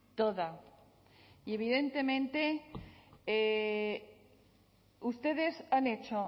toda y evidentemente ustedes han hecho